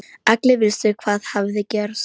Allir vissu hvað hafði gerst.